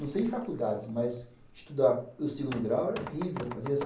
Não sei em faculdades, mas estudar o segundo grau era terrível. Eu fazia